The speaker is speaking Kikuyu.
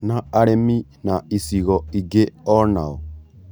Na arĩmi na icigo ingĩ onao?